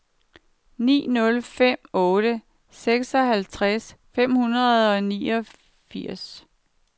ni nul fem otte seksoghalvtreds fem hundrede og niogfirs